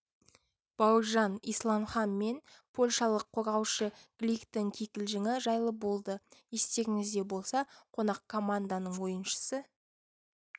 бауыржан исламхан мен польшалық қорғаушы гликтің кикілжіңі жайлы болды естеріңізде болса қонақ команданың ойыншысы